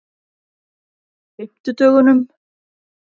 fimmtudögunum